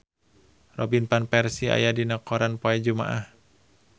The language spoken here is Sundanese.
Robin Van Persie aya dina koran poe Jumaah